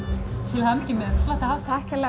til hamingju með flotta hátíð takk kærlega